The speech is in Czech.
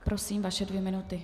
Prosím, vaše dvě minuty.